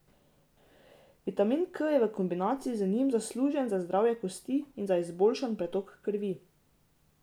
Vitamin K je v kombinaciji z njim zaslužen za zdravje kosti in za izboljšan pretok krvi.